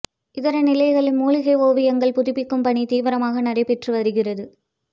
இதர நிலைகளில் மூலிகை ஓவியங்கள் புதுப்பிக்கும் பணி தீவிரமாக நடைபெற்று வருகிறது